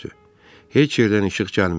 Heç yerdən işıq gəlmirdi.